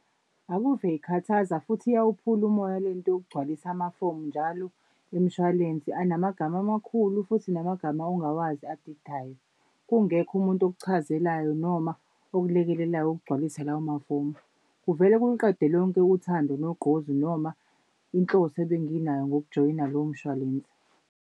Akuve ikhathaza futhi iyawuphula umoya le nto yokugcwalisa amafomu njalo emishwalense anamagama amakhulu futhi namagama ongawazi adidayo. Kungekho umuntu okuchazelayo noma okulekelelayo ukugcwalisa lawo mafomu. Kuvele kuluqede lonke uthando nogqozi noma inhloso ebenginayo ngokujoyina lowo mshwalense.